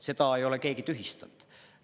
Seda ei ole keegi tühistanud.